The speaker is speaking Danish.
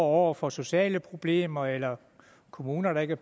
over for sociale problemer eller kommuner der ikke